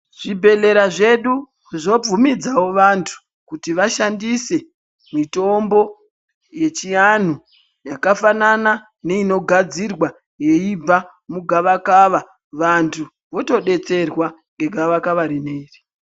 Zvibhedhlera zvedu, zvobvumidzawo vantu, kuti vashandise mitombo yechianhu yakafanana neinogadzirwa yeibva mugavakava, vantu votodetserwa ngegavakava rineri.